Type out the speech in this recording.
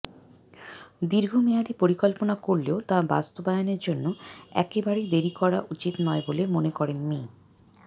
দীর্ঘমেয়াদি পরিকল্পনা করলেও তা বাস্তবায়নের জন্য একেবারেই দেরি করা উচিত নয় বলে মনে করেন মি